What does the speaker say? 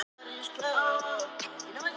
Dorri, kanntu að spila lagið „Krókurinn“?